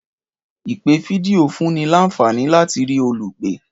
Ìpè fídíò fúnni lànfàní láti rí olùpè